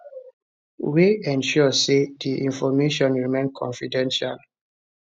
wey ensure say di information remain confidential